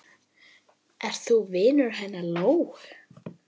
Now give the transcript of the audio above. Ert þú vinur hennar Lóu?